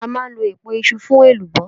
A máa ń lọ̀ èpo iṣu fún elubo.